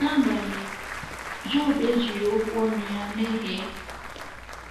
N’agbanyeghị, Job ejighị okwu ọnụ ya mehie.